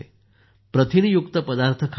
प्रथिनयुक्त पदार्थ खात असे